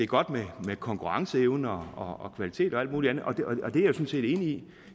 godt med konkurrenceevne og kvalitet og alt muligt andet og